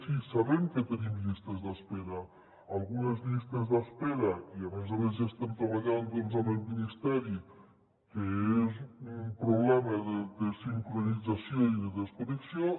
sí sabem que tenim llistes d’espera algunes llistes d’espera i a més a més ja estem treballant doncs amb el ministeri el que és un problema de desincronització i de desconnexió